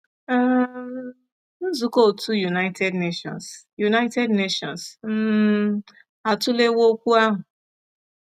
um Nzukọ otu United Nations United Nations um atụlewo okwu ahụ.